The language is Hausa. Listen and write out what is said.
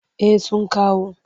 Eh sun kawo.